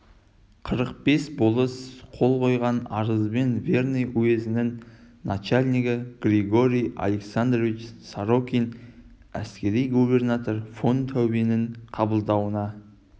қырық бір болыс қол қойған арызбен верный уезінің начальнигі георгий александрович сорокин әскери губернатор фон таубенің қабылдауына